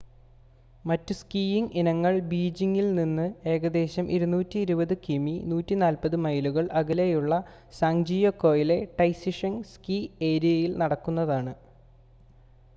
മറ്റു സ്കീയിംങ് ഇനങ്ങൾ ബീജിംങിൽനിന്ന് ഏകദേശം 220 കി.മി 140 മൈലുകൾ അകലെയുള്ള സാങ്ജിയാക്കൊയിലെ ടൈസിഷെങ് സ്കീ ഏരിയയിൽ നടക്കുന്നതാണ്